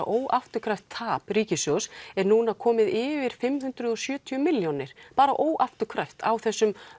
óafturkræft tap ríkissjóðs er núna komin yfir fimm hundruð og sjötíu milljónir bara óafturkræft á þessum